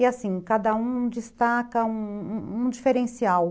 E assim, cada um destaca um um diferencial.